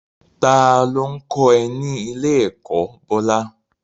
Ta ló ń kọ́ ẹ ní ilé-ẹ̀kọ́, Bola?